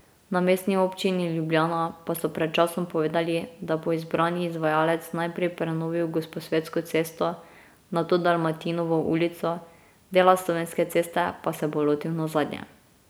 Na Mestni občini Ljubljana pa so pred časom povedali, da bo izbrani izvajalec najprej prenovil Gosposvetsko cesto, nato Dalmatinovo ulico, dela Slovenske ceste pa se bo lotil nazadnje.